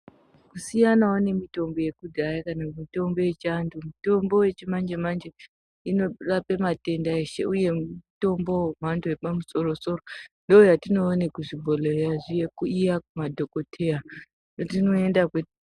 Siyanawo nemitombo yekudhaya kana mitombo yechiantu. Mitombo yechimanje-manje inorape matenda eshe, uye mutombo wemhando yepamusoro-soro. Ndoyatinoone kuzvibhodhleya yechi iya kumadhokoteya kwatinoenda kwe.....